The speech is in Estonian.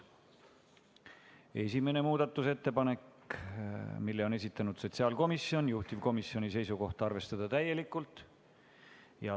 Esimese muudatusettepaneku on esitanud sotsiaalkomisjon, juhtivkomisjoni seisukoht: arvestada seda täielikult.